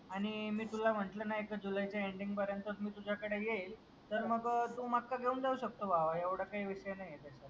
आणि मी तुला म्हटलं ना एक जुलैचा एंडिंग पर्यंत मी तुझ्याकडे येईल तर मग तू मका घेऊन जाऊ शकतो भावा एवढं काय विषय नाही.